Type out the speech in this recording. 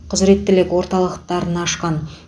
құзіреттілік орталықтарын ашқан